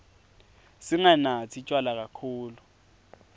singanatsi tjwala kakhulu